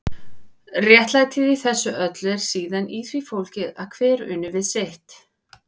Réttlætið í þessu öllu er síðan í því fólgið að hver uni við sitt.